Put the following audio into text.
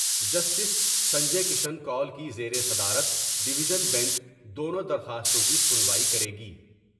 Justice Sanjay Kishan Kaul کی زیر صدارت ڈیویژن بنچ دونوں درخواستوں کی سنوائی کرے گی ۔